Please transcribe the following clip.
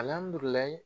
Alihamudulila